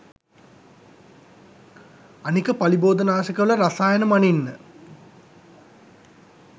අනික පලිබෝධනාශක වල රසායන මනින්න